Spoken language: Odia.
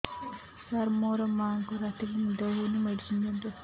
ସାର ମୋର ମାଆଙ୍କୁ ରାତିରେ ନିଦ ହଉନି ମେଡିସିନ ଦିଅନ୍ତୁ